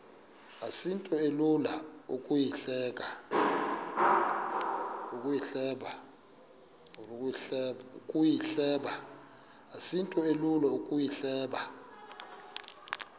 asinto ilula ukuyihleba